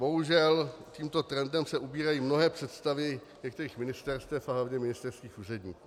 Bohužel, tímto trendem se ubírají mnohé představy některých ministerstev a hlavně ministerských úředníků.